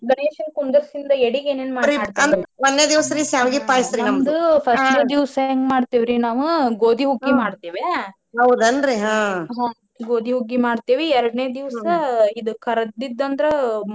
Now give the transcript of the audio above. ಗಣೇಶಿನ ಕುಂಡ್ರಿಸಿಂದ ಎಡಿಗೆ ಏನೇನ ಮಾಡ್ತೇರಿ ನಮ್ದು first ನೆ ದಿವಸ ಏನ ಮಾಡ್ತೇವ್ರಿ ನಾವ ಗೋದಿ ಹುಗ್ಗಿ ಮಾಡ್ತೇವ ಹ್ಮ್‌ ಗೋದಿ ಹುಗ್ಗಿ ಮಾಡ್ತೇವಿ ಎರ್ಡನೇ ದಿವಸ ಕರ್ದದ್ದಅಂದ್ರ ಮತ್ತ ಇದ.